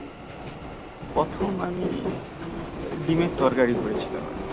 প্রথম আমি ডিমের তরকারি করেছিলাম আর কি